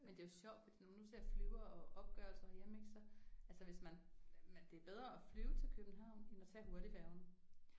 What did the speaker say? Men det er jo sjovt fordi når man nu ser flyvere og opgørelser herhjemme ik så altså hvis man det er bedre at flyve til København end at tage hurtigfærgen